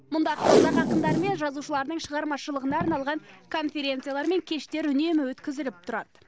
мұнда қазақ ақындары мен жазушыларының шығармашылығына арналған конференциялар мен кештер үнемі өткізіліп тұрады